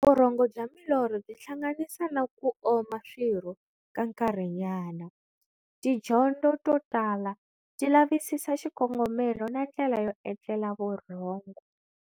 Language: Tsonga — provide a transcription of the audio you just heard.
Vurhongo bya milorho byi hlanganisa na ku oma swirho ka nkarhinyana. Tidyondo to tala ti lavisisa xikongomelo na ndlela yo etlela vurhongo.